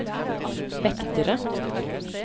vektere